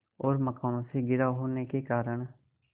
और मकानों से घिरा होने के कारण